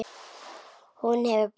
Hún hefur breyst.